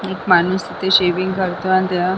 एक माणूस तिथे शेविंग करतोय अन त्या--